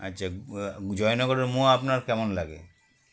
আচ্ছা আ জয়নগরের মোয়া আপনার কেমন লাগে